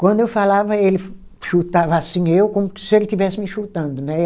Quando eu falava, ele chu chutava assim eu, como se ele estivesse me chutando, né?